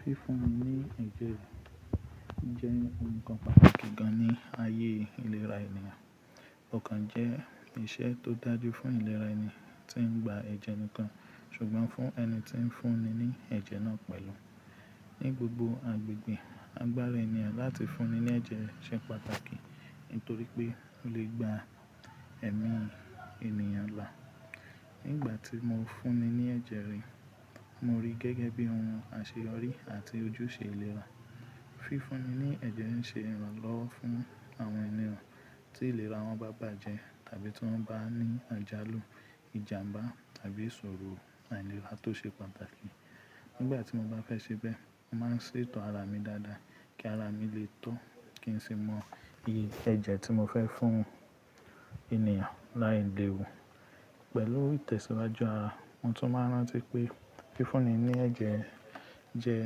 Fífúnni ní ẹ̀jẹ̀ jẹ́ ohun kan pàtàkì gan ní ayé ìlera ènìyàn. Kokan jẹ́ iṣẹ́ tó dájú fún ìlera ẹni tí ń gba ẹ̀jẹ̀ nìkan ṣùgbọ́n fún ẹni tí ń fúnni ní ẹ̀jẹ̀ náà pẹ̀lú. Ni gbogbo agbègbè, agbára ènìyàn láti fúnni ní ẹ̀jẹ̀ ṣe pàtàkì nítorí pé ó lè gba ẹ̀mí ènìyàn là. Ni ìgbà tí mo ń fúnni ní ẹ̀jẹ̀ rí, mo rí gẹ́gẹ́ bí ohun àṣeyọrí àti ojúṣe ìlera. Fífúnni ní ẹ̀jẹ̀ n ṣe ìrànlọ́wọ́ fún àwọn ènìyàn tí ìlera wọn bá bàjẹ́ tàbí tí wọ́n bá ní àjálù, ìjàmbá tàbí ìṣòro àìlera tó ṣe pàtàkì. Ni ìgbà tí mo bá fẹ́ ṣe bẹ́ẹ̀, mo máa ń ṣètò ara mi dáadáa kí ara mi lè tó kí n sì mọ iye ẹ̀jẹ̀ tí mo fẹ́ fún ènìyàn láì lèwù. Pẹ̀lú ìtẹ̀síwájú ara, mo tún máa ń rántí pé fífúnni ní ẹ̀jẹ̀ jẹ́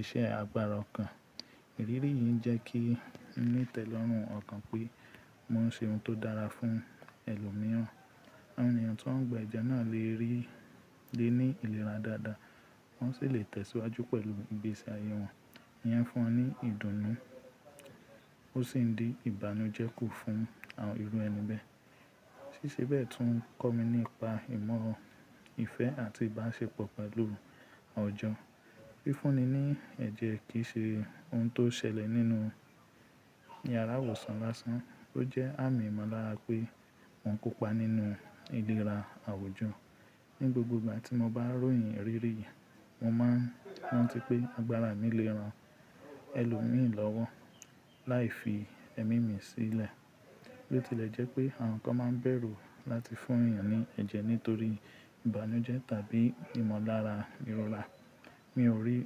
iṣẹ́ agbára ọ̀kan. Ìrírí yìí jẹ́ kí n ní ìtẹ́lọ́rùn ọ̀kan pé mò ń ṣe ohun tó dára fún ẹlòmíràn. Àwọn ènìyàn tí wọ́n gba ẹ̀jẹ̀ náà lè rí lé ní ìlera dáadáa wọ́n sì lè tẹ̀síwájú pẹ̀lú ìgbésí ayé wọn. Ìyẹn fún un ní ìdùnnú ó sì ń di ìbànújẹ́ kù fún àwọn irú ẹni bẹ́ẹ̀. Síṣe bẹ́ẹ̀ tún ń kọ́ mi nípa ìmọ̀ ìfẹ́ àti ìbáṣepọ̀ pẹ̀lú ọ̀jọ̀. Fífúnni ní ẹ̀jẹ̀ kì í ṣe ohun tó ṣẹlẹ̀ nínú yàrá ìwòsàn lásán, ó jẹ́ àmì ìmọ̀lára pé mọ́ n kópa nínú ìlera àwùjọ. Ni gbogbo ìgbà tí mo bá ròyìn ìrírí yìí, mo máa ń rántí pé agbára mi lè ran ẹlòmíràn lọ́wọ́ láì fi ẹ̀mí mi sílẹ̀. Bo ti lè jẹ́ pé àwọn kan máa ń bẹ̀rù láti fún ènìyàn ní ẹ̀jẹ̀ nítorí ìbànújẹ́ tàbí ìmọ̀lára ìrọ̀rà. Mi ò rí,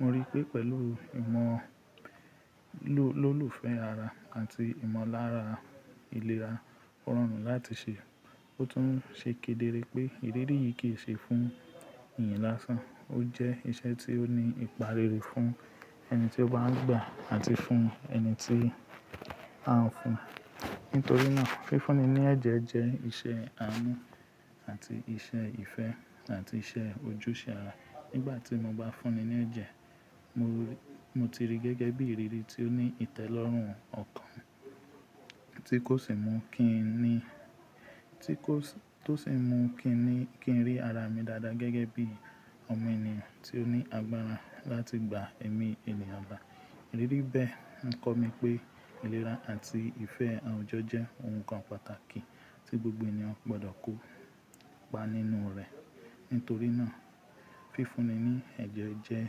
mo rí pé pẹ̀lú ìmọ̀ ló, lólùfẹ́ ara àti ìmọ̀lára ìlera, ó rọrùn láti ṣe. Ó tún ṣe kedere pé ìrírí yìí kì í ṣe fún ènìyàn lásán, ó jẹ́ iṣẹ́ tí ó ní ìparere fún ẹni tí ó bá ń gba àti fún ẹni tí a ń fún. Nítorí náà, fífúnni ní ẹ̀jẹ̀ jẹ́ iṣẹ́ àánú àti iṣẹ́ ìfẹ́ àti iṣẹ́ ojúṣe ara. Ni ìgbà tí mo bá fúnni ní ẹ̀jẹ̀, mo rí, mo ti rí gẹ́gẹ́ bí ìrírí tí ó ní ìtẹ́lọ́rùn ọ̀kan tí kò sì mú kí n ní, tí kò sì mú kí n ní kí n rí ara mi dáadáa gẹ́gẹ́ bí ọmọ ènìyàn tí ó ní agbára láti gba ẹ̀mí ènìyàn là. Ìrírí bẹ́ẹ̀ ń kọ́ mi pé ìlera àti ìfẹ́ àwùjọ jẹ́ ohun kan pàtàkì tí gbogbo ènìyàn gbọdọ̀ kópa nínú rẹ̀. Nítorí náà, fífúnni ní ẹ̀jẹ̀ jẹ́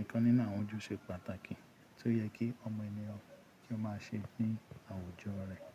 ìkan nínú àwọn ojúṣe pàtàkì tí ó yẹ kí ọmọ ènìyàn kí ó máa ṣe ní àwùjọ rẹ̀.